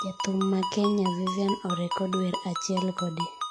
Jathum ma Kenya Vivian orekod wer achiel kode.